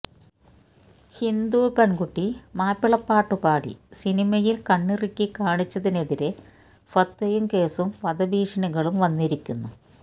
ഹിന്ദു പെണ്കുട്ടി മാപ്പിളപ്പാട്ടു പാടി സിനിമയില് കണ്ണിറുക്കി കാണിച്ചതിനെതിരെ ഫത്വയും കേസും വധഭീഷണികളും വന്നിരിക്കുന്നു